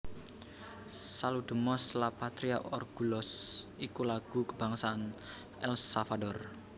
Saludemos la Patria orgullosos iku lagu kabangsané El Salvador